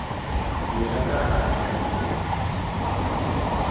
dira ka gale ka tshwanelo